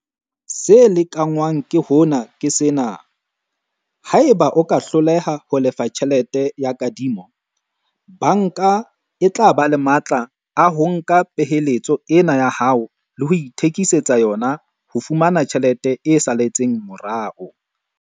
Se lekanngwang ke hona ke sena, haeba o ka hloleha ho lefa tjhelete ya kadimo, banka e tla ba le matla a ho nka peheletso ena ya hao le ho ithekisetsa yona ho fumana tjhelete e saletseng morao.